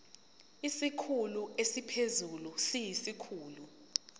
isikhulu esiphezulu siyisikhulu